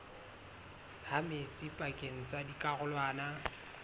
ha metsi pakeng tsa dikarolwana